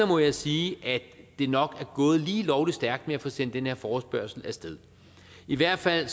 må jeg sige at det nok er gået lige lovlig stærkt med at få sendt den her forespørgsel af sted i hvert fald